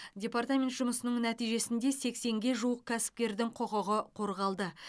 департамент жұмысының нәтижесінде сексенге жуық кәсіпкердің құқығы қорғалды